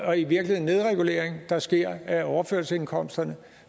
og i virkeligheden nedregulering der sker af overførselsindkomsterne